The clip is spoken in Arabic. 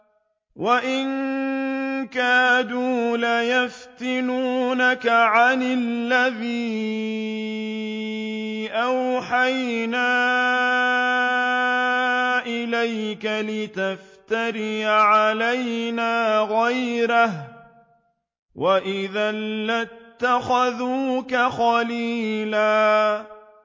وَإِن كَادُوا لَيَفْتِنُونَكَ عَنِ الَّذِي أَوْحَيْنَا إِلَيْكَ لِتَفْتَرِيَ عَلَيْنَا غَيْرَهُ ۖ وَإِذًا لَّاتَّخَذُوكَ خَلِيلًا